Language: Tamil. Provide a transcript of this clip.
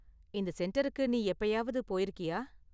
இந்த சென்டருக்கு நீ எப்பயாவது போயிருக்கியா?